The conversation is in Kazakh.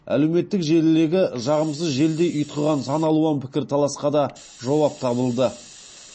әлеуметтік желілегі жағымсыз желдей ұйтқыған сан алуан пікірталасқа да жауап табылды